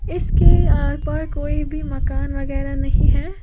इसके आर पार कोई भी मकान वगैरा नहीं है।